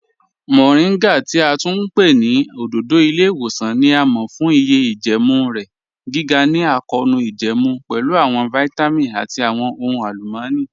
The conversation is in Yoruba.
Moringa ti a tún pẹ̀ ni ọ̀dọ̀dọ̀ ilẹ̀-iwosan ni a mọ̀ fun iye ijẹẹmu rẹ, giga ni akọọnu ijẹẹmu, pẹ̀lú awọn vitamin ati awọn ọhun alumọni.